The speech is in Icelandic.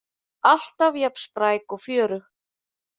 Alltaf jafn spræk og fjörug.